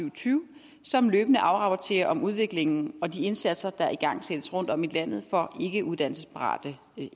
og tyve som løbende afrapporterer om udviklingen og de indsatser der igangsættes rundtom i landet for ikke uddannelsesparate